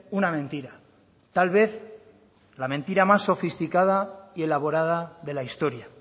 una mentira tal vez la mentira más sofisticada y elaborada de la historia